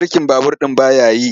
Birkin babur ɗin ba ya yi.